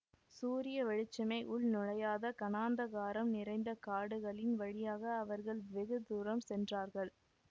சூரிய வெளிச்சமே உள் நுழையாத கனாந்தகாரம் நிறைந்த காடுகளின் வழியாக அவர்கள் வெகு தூரம் சென்றார்கள்